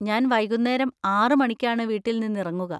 ഞാൻ വൈകുന്നേരം ആറ് മണിക്കാണ് വീട്ടിൽ നിന്നിറങ്ങുക.